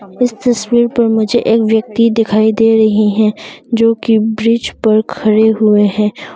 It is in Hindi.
इस तस्वीर पर मुझे एक व्यक्ति दिखाई दे रहे हैं जोकि ब्रिज पर खड़े हुए हैं।